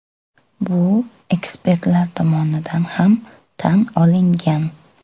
Bu ekspertlar tomonidan ham tan olingan.